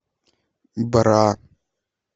бра